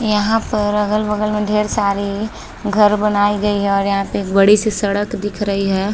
यहाँ पर अगल-बगल में ढ़ेर सारे घर बनायीं गयी है और यहाँ पे एक बड़ी सी सड़क दिख रही है।